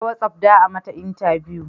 Ta watsaf za a mata intabiyu